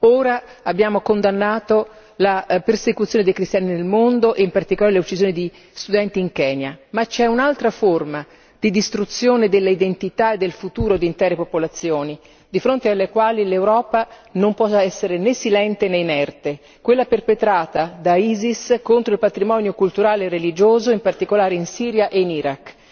Ora abbiamo condannato la persecuzione dei cristiani nel mondo e in particolare l'uccisione di studenti in Kenya, ma c'è un'altra forma di distruzione delle identità e del futuro di intere popolazioni di fronte alle quali l'Europa non può essere né silente né inerte, quella perpetrata dall'Isis contro il patrimonio culturale e religioso, in particolare in Siria e in Iraq.